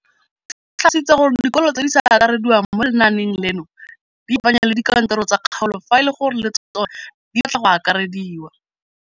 O tlhalositse gore dikolo tse di sa akarediwang mo lenaaneng leno di ikopanye le dikantoro tsa kgaolo fa e le gore le tsona di batla go akarediwa.